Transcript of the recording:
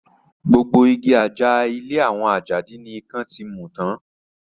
Gbogbo igi àjà ilé àwọn Àjàdí ni ikán ti mu tán